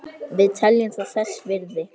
Við teljum það þess virði